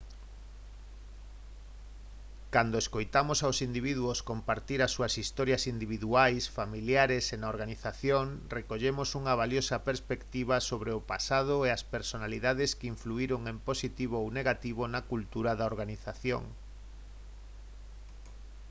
cando escoitamos aos individuos compartir as súas historias individuais familiares e na organización recollemos unha valiosa perspectiva sobre o pasado e as personalidades que influíron en positivo ou negativo na cultura da organización